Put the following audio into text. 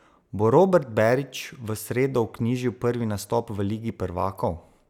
Bo Robert Berić v sredo vknjižil prvi nastop v ligi prvakov?